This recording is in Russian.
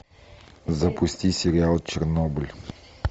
запусти сериал чернобыль